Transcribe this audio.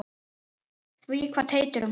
Því kvað Teitur um hana